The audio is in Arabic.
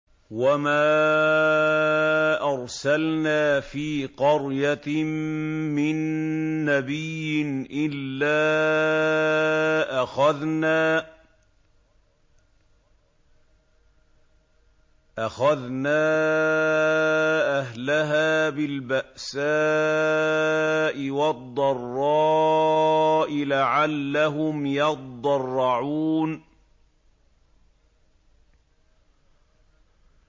وَمَا أَرْسَلْنَا فِي قَرْيَةٍ مِّن نَّبِيٍّ إِلَّا أَخَذْنَا أَهْلَهَا بِالْبَأْسَاءِ وَالضَّرَّاءِ لَعَلَّهُمْ يَضَّرَّعُونَ